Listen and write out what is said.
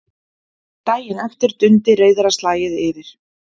Daginn eftir dundi reiðarslagið yfir.